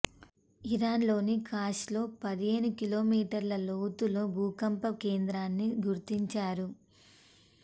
Iran లోని ఖాష్లో పదిహేను కిలోమీటర్ల లోతులో భూకంప కేంద్రాన్ని గుర్తించారు